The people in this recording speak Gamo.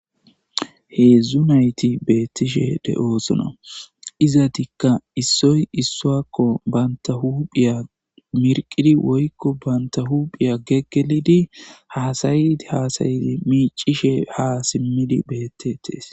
Hezhzhu naytti betishe de'osonna izati isoy isuwako bantta huphiyya miqidi woykko bantta huphiyya gegelid hassaydi hassaydi micishe hassaydi bettetes.